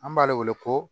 An b'ale wele ko